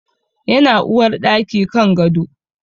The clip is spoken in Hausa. Yana uwarɗaki kan gado